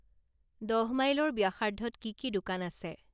দহ মাইলৰ ব্যাসাৰ্ধত কি কি দোকান আছে